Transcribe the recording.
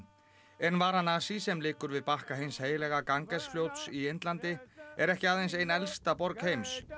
en Varanasi sem liggur við bakka hins heilaga fljóts í Indlandi er ekki aðeins ein elsta borg heims